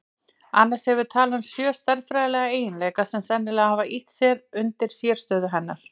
Annars hefur talan sjö stærðfræðilega eiginleika sem sennilega hafa ýtt undir sérstöðu hennar.